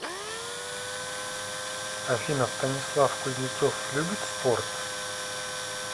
афина станислав кузнецов любит спорт